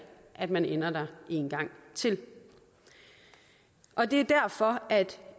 at man ender der en gang til og det er derfor